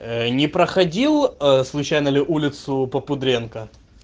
ээ не проходил ээ случайно ли улицу попудренка